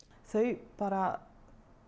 þau bara